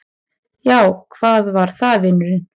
Já, hvað var það, vinurinn?